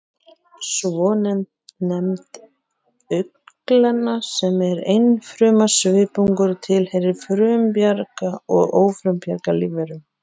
Svonefnd augnglenna, sem er einfruma svipungur, tilheyrir bæði frumbjarga og ófrumbjarga lífverum